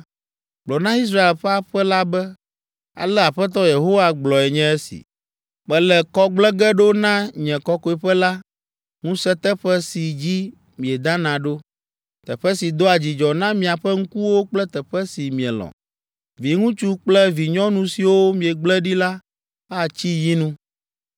Gblɔ na Israel ƒe aƒe la be, ‘Ale Aƒetɔ Yehowa gblɔe nye si. Mele kɔ gblẽ ge ɖo na nye kɔkɔeƒe la, ŋusẽteƒe si dzi miedana ɖo, teƒe si doa dzidzɔ na miaƒe ŋkuwo kple teƒe si mielɔ̃. Viŋutsu kple vinyɔnu siwo miegble ɖi la atsi yinu